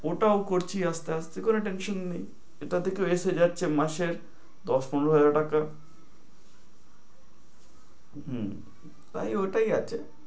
ওটাও করছি আসতে আসতে, কোনো tension নেই। এটাতে তো এসে যাচ্ছে মাসে দশ পনেরো হাজার টাকা। হু, তাইলে ঐটাই আছে।